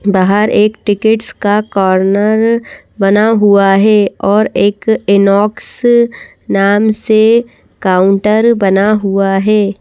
बाहर एक टिकट्स का कॉर्नर बना हुआ है और एक इनॉक्स नाम से काउंटर बना हुआ है।